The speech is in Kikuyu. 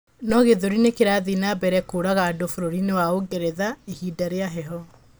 No gĩthũri nĩ kĩrathie na mbere kũraga andũ bũrũrinĩ wa Ũngeretha ihinda rĩa heho